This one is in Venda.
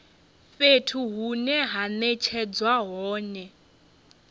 fhethu hune ha netshedzwa hone